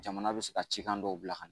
Jamana bɛ ka cikan dɔw bila ka